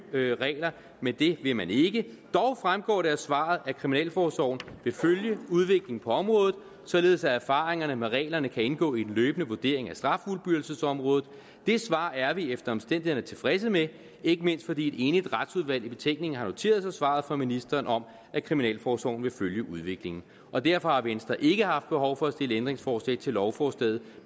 regler men det vil man ikke dog fremgår det af svaret at kriminalforsorgen vil følge udviklingen på området således at erfaringerne med reglerne kan indgå i en løbende vurdering af straffuldbyrdelsesområdet det svar er vi efter omstændighederne tilfredse med ikke mindst fordi et enigt retsudvalg i betænkningen har noteret sig svaret fra ministeren om at kriminalforsorgen vil følge udviklingen og derfor har venstre ikke haft behov for at stille ændringsforslag til lovforslaget